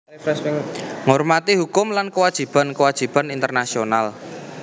Ngormati hukum lan kewajiban kewajiban internasional